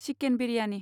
chicken biryani